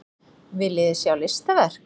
Viljiði sjá listaverk?